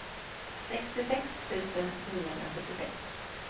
sextiosex tusen niohundrasjuttiosex